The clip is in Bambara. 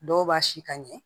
Dɔw b'a si ka ɲɛ